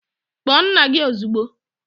Kpọọ nna gị ozugbo!